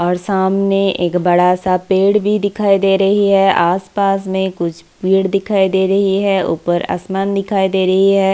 और सामने एक बड़ा-सा पेड़ भी दिखाई दे रही है आस-पास में कुछ पेड़ दिखाई दे रही है ऊपर आसमान दिखाई दे रही है।